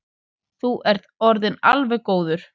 Þú ert orðinn alveg góður.